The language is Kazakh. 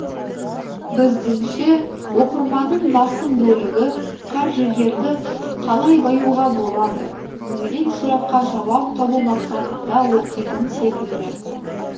біздіңше оқырманның басым бөлігі қаржыгерді қалай баюға болады деген сұраққа жауап табу мақсатында оқитын секілді